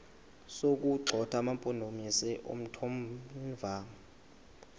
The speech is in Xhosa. sokuwagxotha amampondomise omthonvama